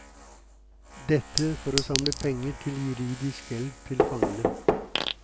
Dette for å samle penger til juridisk hjelp til fangene.